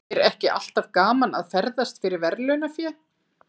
Er ekki alltaf gaman að ferðast fyrir verðlaunafé?